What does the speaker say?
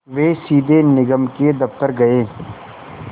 वे सीधे निगम के दफ़्तर गए